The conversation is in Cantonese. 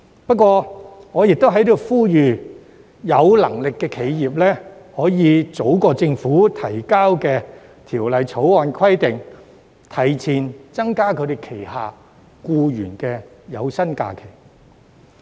然而，我在此呼籲有能力的企業，可以早在《條例草案》建議的生效日期前，增加轄下僱員的法定假日。